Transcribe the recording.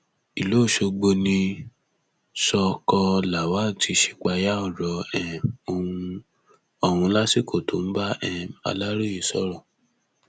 ìlú ọṣọgbó ní sọọkọ lawal ti ṣípayá ọrọ um ọhún lásìkò tó ń bá um aláròye sọrọ